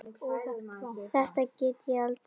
Þegar ég átti leið um